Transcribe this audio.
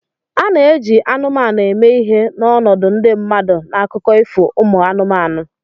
A na-eji anụmanụ eme ihe n'ọnọdụ ndị mmadụ n'akụkọ ifo umu anụmanụ